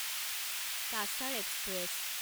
Cachar express